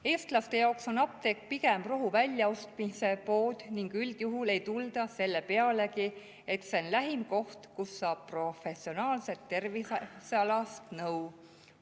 Eestlaste jaoks on apteek pigem rohuostmise pood ning üldjuhul ei tulda selle pealegi, et see on lähim koht, kus saab professionaalset tervisealast nõu.